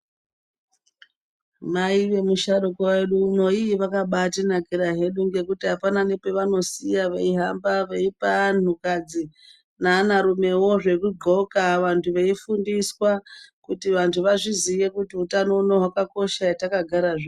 Mai vemusharukwa wedu uno vakabatinakira ngekuti apana nepavanosiya veihamba veipa antukadzi neanarumewo zvekudxoka vantu veifundiswa kuti vantu vazvizive kuti hutano huno hwakakosha hetakagara zvino.